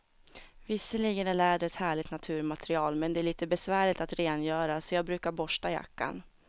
Visserligen är läder ett härligt naturmaterial, men det är lite besvärligt att rengöra, så jag brukar borsta jackan.